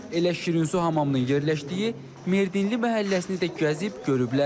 Elə Şirinsu hamamının yerləşdiyi Merdinli məhəlləsini də gəzib görüblər.